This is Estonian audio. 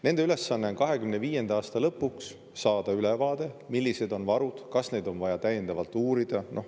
Nende ülesanne on 2025. aasta lõpuks saada ülevaade, millised on varud ja kas neid on vaja täiendavalt uurida.